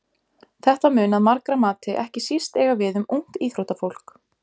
Þetta mun að margra mati ekki síst eiga við um ungt íþróttafólk.